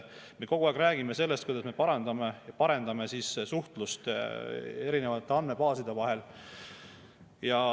Me kogu aeg räägime sellest, kuidas me parandame ja parendame suhtlust erinevate andmebaaside vahel.